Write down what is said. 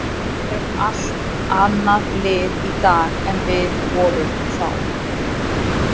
Við erum allt annað lið í dag en við vorum þá.